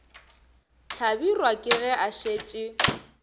hlabirwa ke ge a šetše